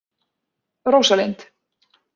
Rósalind